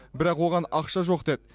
бірақ оған ақша жоқ деді